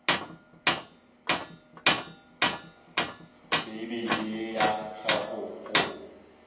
bibele ye ya gago go